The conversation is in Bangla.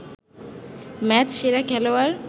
ম্যাচসেরা খেলোয়াড়